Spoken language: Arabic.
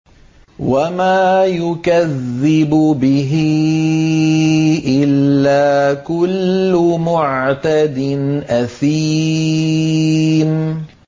وَمَا يُكَذِّبُ بِهِ إِلَّا كُلُّ مُعْتَدٍ أَثِيمٍ